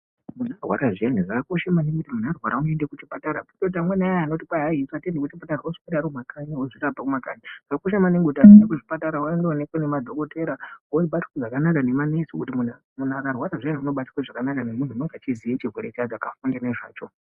...... Zvakakosha maningi kuti munhu arwara unoende kuchipatara kwete kuti amweni ayani anoti atiendi kuchipatara voswera varimumakanyi vozvirapa kumakanyi zvakakosha maningi kuti anhu aende kuzvipatara vanoonekwe ngemadhokotera vobatwa zvakanaka nema nesi ngokuti munhu akarwara zviyana unobatwa zvakanaka nemunhu unonga echiziye chacho chaakafunde nezvacho.